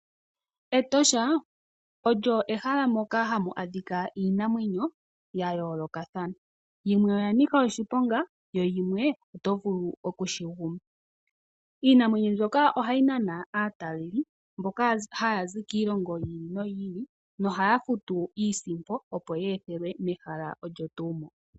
Etosha olyo ehala ndyoka hamu adhika iinamwenyo yayoolokathana yimwe oyanika oshiponga yo yimwe otovulu okushiguma. Iinamwenyo mbino ohayi nana aataleli mbola haya zi kiilongo yi ili noyi ili no ohaya futu iisimpo opo yeethelwe mehala olyotuu mo.